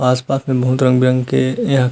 आस पास में बहुत रंग बिरंग के यह --